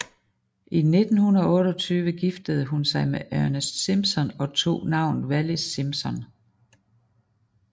I 1928 giftede hun sig med Ernest Simpson og tog navnet Wallis Simpson